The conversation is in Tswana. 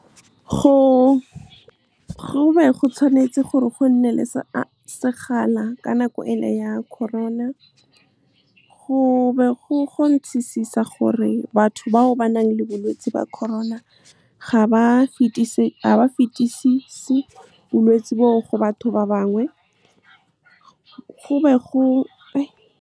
Go be tshwanetse gore go nne le sekgala ka nako e le ya Corona. Go be go gore batho bao ba nang le bolwetse ba Corona ga ba fetisisi bolwetse bo o go batho ba bangwe. Go be go. Go be tshwanetse gore go nne le sekgala ka nako e le ya Corona. Go be go gore batho bao ba nang le bolwetse ba Corona ga ba fetisisi bolwetse bo o go batho ba bangwe. Go be go.